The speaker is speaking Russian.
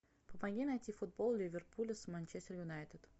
помоги найти футбол ливерпуля с манчестер юнайтед